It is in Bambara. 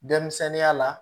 Denmisɛnninya la